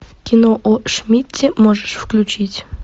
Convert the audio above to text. кино о шмидте можешь включить